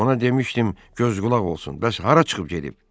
Ona demişdim göz-qulaq olsun, bəs hara çıxıb gedib?